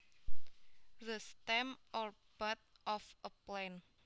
The stem or bud of a plant